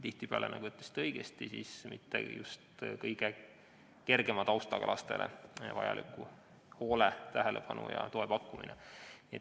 Tihtipeale on see, nagu te õigesti ütlesite, mitte just kõige kergema taustaga lastele vajaliku hoole, tähelepanu ja toe pakkumine.